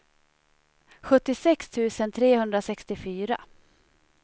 sjuttiosex tusen trehundrasextiofyra